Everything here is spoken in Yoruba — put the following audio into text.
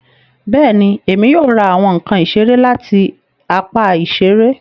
Bẹẹni, Èmi yóò ra awọn nkán isere lati apá iṣere